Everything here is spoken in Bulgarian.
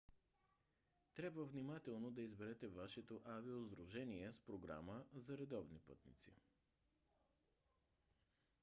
трябва внимателно да изберете вашето авиосдружение с програма за редовни пътници